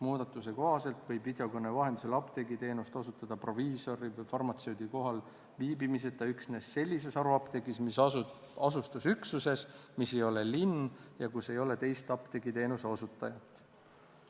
Muudatuse kohaselt võib videokõne vahendusel apteegiteenust osutada proviisori või farmatseudi kohalviibimiseta üksnes sellises haruapteegis, mis asub asutusüksuses, mis ei ole linn ja kus ei ole teist apteegiteenuse osutajat.